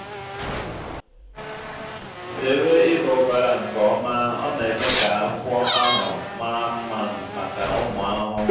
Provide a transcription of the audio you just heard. zere ịba ụbara nke ọma ọ na-eme ka akwụkwọ ahụ maa mma maka ụmụ ahụhụ.